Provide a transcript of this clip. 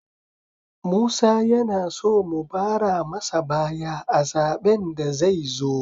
Musa yana so mu bara masa baya a zaben da zai zo